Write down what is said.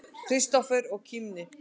Kristófer og kímdi.